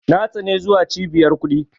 Na tsani zuwa Cibiyar kuɗi.